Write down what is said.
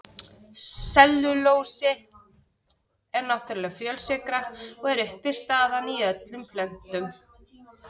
Sellulósi er náttúrleg fjölsykra og er uppistaðan í öllum plöntum.